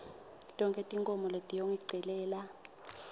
tonkhe tinkhomo letiyongicelela